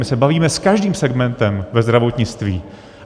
My se bavíme s každým segmentem ve zdravotnictví.